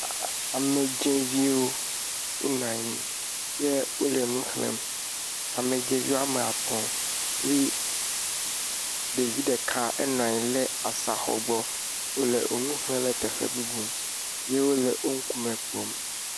Aaa…amedzɛviwo wonɔ anyi ye wole nu xlẽm, amedzeviwo woame atɔ̃ kpli ɖevi ɖeka enɔ anyi ɖe asa xɔ gbɔ, eye wole nu xlẽm le teƒe bubu ye wole teƒe bubu kpɔm.